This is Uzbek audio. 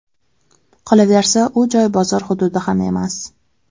Qolaversa, u joy bozor hududi ham emas”.